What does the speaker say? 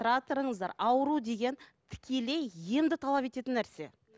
тұра тұрыңыздар ауру деген тікелей емді талап ететін нәрсе